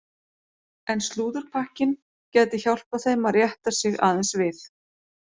En slúðurpakkinn gæti hjálpað þeim að rétta sig aðeins við.